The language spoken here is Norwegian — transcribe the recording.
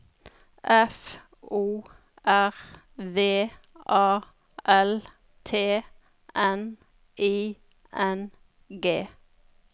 F O R V A L T N I N G